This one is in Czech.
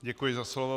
Děkuji za slovo.